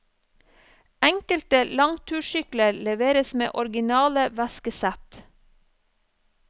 Enkelte langtursykler leveres med originale veskesett.